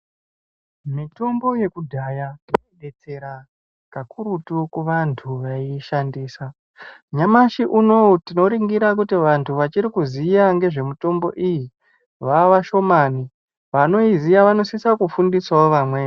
Mitombo yekudhaya inobetsera kakurutu kuvantu vaiishandisa. Nyamashi unouyu tinoringira kuti vantu vachirikuziya ngezvemitombo iyi, vavashomani vanoiziya vanosisa kufundisavo vamweni.